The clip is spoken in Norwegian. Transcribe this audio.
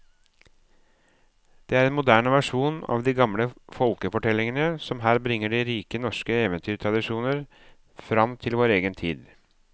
Det er en moderne versjon av de gamle folkefortellingene som her bringer de rike norske eventyrtradisjoner fram til vår egen tid.